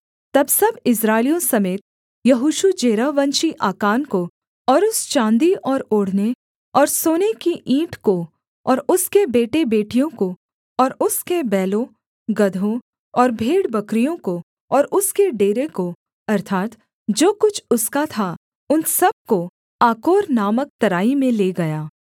तब सब इस्राएलियों समेत यहोशू जेरहवंशी आकान को और उस चाँदी और ओढ़ने और सोने की ईंट को और उसके बेटेबेटियों को और उसके बैलों गदहों और भेड़बकरियों को और उसके डेरे को अर्थात् जो कुछ उसका था उन सब को आकोर नामक तराई में ले गया